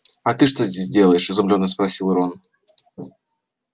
а ты что здесь делаешь изумлённо спросил рон